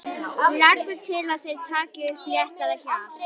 Leggur til að þeir taki upp léttara hjal.